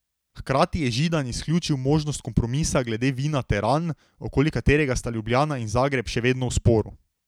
Hkrati je Židan izključil možnost kompromisa glede vina teran, okoli katerega sta Ljubljana in Zagreb še vedno v sporu.